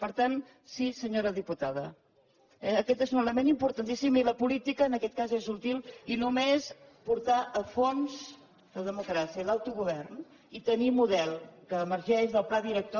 per tant sí senyora diputada aquest és un element importantíssim i la política en aquest cas és útil i només portar a fons la democràcia l’autogovern i tenir model que emergeix del pla director